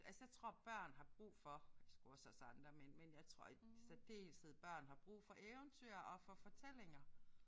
Altså jeg tror børn har brug for sgu også os andre men men jeg tror i særdeleshed børn har brug for eventyr og for fortællinger